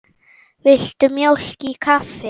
Viltu mjólk í kaffið?